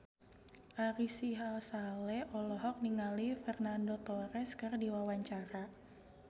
Ari Sihasale olohok ningali Fernando Torres keur diwawancara